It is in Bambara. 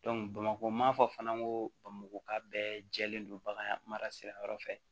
bamakɔ n m'a fɔ fana n ko bamako ka bɛɛ jɛlen don bagan mara sira yɔrɔ fɛ